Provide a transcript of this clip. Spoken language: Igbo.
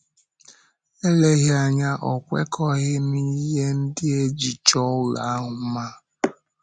Eleghị anya ọ̀ kwekọghị n’ihe ndị e ji chọọ ụlọ ahụ mma.